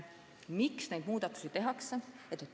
Miks neid muudatusi tehakse?